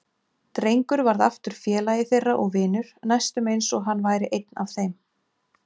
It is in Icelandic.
Drengur varð aftur félagi þeirra og vinur, næstum eins og hann væri einn af þeim.